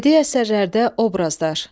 Bədii əsərlərdə obrazlar.